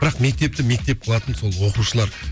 бірақ мектепті мектеп қылатын сол оқушылар